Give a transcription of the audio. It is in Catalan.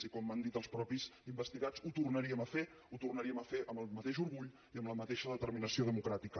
i com van dir els mateixos investigats ho tornaríem a fer ho tornaríem a fer amb el mateix orgull i amb la mateixa determinació democràtica